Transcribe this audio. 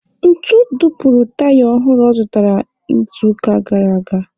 Ntu dupuru taya ọhụrụ ọ zụrụtara n'izuụka gara aga.